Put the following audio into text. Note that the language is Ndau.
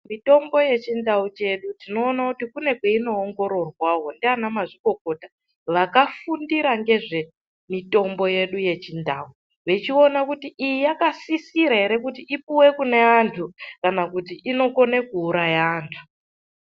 Mitombo yechindau chedu tinoona kuti kune kwainoongororwawo ndiana mazvikokota vakafundira nezvemitombo yedu yechindau vechiona kuti iyi yakasisira here ipuwe kune andu kana kuti inokona kuuraya antu.